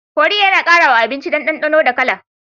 Kori yAna kara wa abinci dan danonda kala